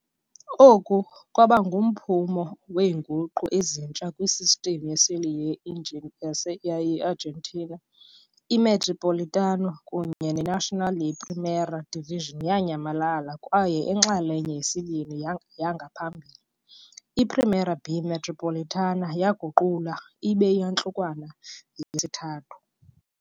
Oku kwaba ngumphumo weenguqu ezintsha kwi-system yeseli ye-Argentina, i-Metropolitano kunye neNacional ye-Primera División yanyamalala kwaye inxalenye yesibini yangaphambili, i-Primera B Metropolitana yaguqulwa ibe yintlukwano yesithathu.